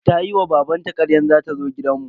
Tayi wa babanta karyan za ta zo gidan mu.